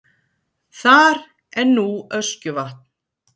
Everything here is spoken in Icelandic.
þar en nú öskjuvatn